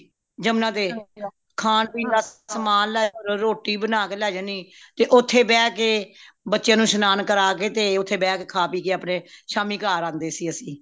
ਯਮੁਨਾ ਤੇ ਖ਼ਾਨ ਪੀਣ ਦਾ ਸਾਮਾਨ ਲੇ ਜਾਂਦੇ ਰੋਟੀ ਬਣਾ ਕੇ ਲੇ ਜਾਨੀ ਤੇ ਓਥੇ ਬੇਹ ਕੇ ਬੱਚਿਆਂ ਨੂੰ ਸ਼ਨਾਨ ਕਰਾ ਕੇ ਤੇ ਓਥੇ ਬੇਹ ਖਾ ਪੀਕੇ ਅਪਣੇ ਸ਼ਾਮੀ ਘਰ ਆਂਦੇ ਸੀ ਅਸੀਂ